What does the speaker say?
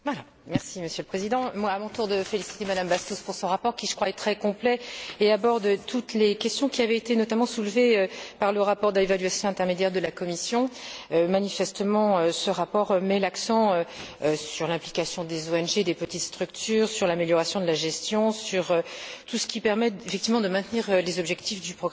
Monsieur le Président, à mon tour de féliciter M Bastos pour son rapport, qui, je crois, est très complet et aborde toutes les questions qui avaient été notamment soulevées par le rapport d'évaluation intermédiaire de la Commission. Manifestement, ce rapport met l'accent sur l'implication des ONG et des petites structures, sur l'amélioration de la gestion, sur tout ce qui permet, effectivement, de maintenir les objectifs du programme.